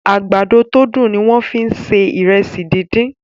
àgbàdo to dùn ní wón fí ń ṣe Ìrẹsí dín dín.